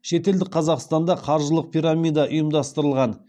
шетелдік қазақстанда қаржылық пирамида ұйымдастырылған